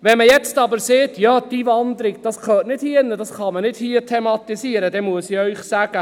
Wenn man jetzt sagt, die Einwanderung gehöre nicht hierhin, diese könne hier nicht thematisiert werden, dann muss ich Ihnen sagen: